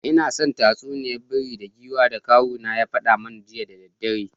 Ina son tatsuniya bera da giwa da kawun ya fada mana jiya da daddare…